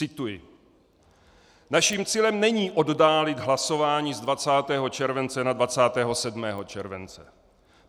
Cituji: Naším cílem není oddálit hlasování z 20. července na 27. července.